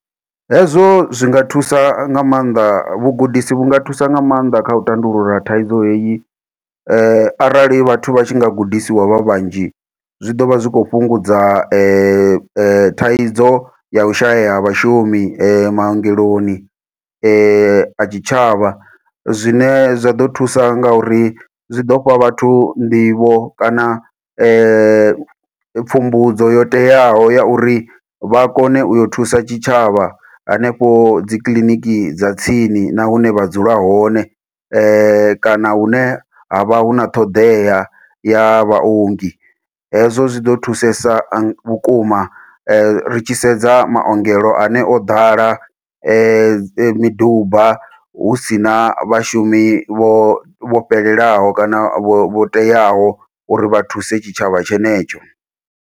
Hezwo zwi nga thusa nga maanḓa, vhugudisi vhu nga thusa nga maanḓa kha u tandulula thaidzo heyi. Arali vhathu vha tshi nga gudisiwa vha vhanzhi. Zwi ḓo vha zwi khou fhungudza thaidzo ya u shaya ha vhashumi maongeloni a tshitshavha. Zwine zwa ḓo thusa nga uri zwi ḓo fha vhathu nḓivho, kana pfumbudzo yo teaho ya uri vha kone u yo thusa tshitshavha, hanefho dzi kiḽiniki dza tsini na hune vha dzula hone. Kana hune havha huna ṱhoḓea ya vhaongi, hezwo zwi ḓo thusesa vhukuma. Ri tshi sedza maongelo ane o ḓala miduba hu si na vhashumi vho, vho fhelelaho kana vho vho teaho, uri vha thuse tshitshavha tshenetsho.